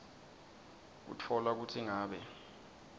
kutfola kutsi ngabe